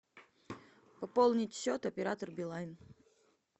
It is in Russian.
пополнить счет оператор билайн